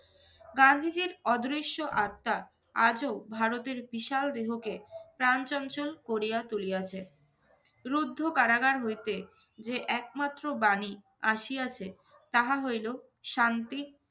গান্ধীজীর অদৃশ্য আত্মা আজও ভারতের বিশাল দেহকে প্রাণ চঞ্চল করিয়া তুলিয়াছে। রুদ্ধ কারাগার হইতে যে একমাত্র বাণী আসিয়াছে তাহা হইলো শান্তি,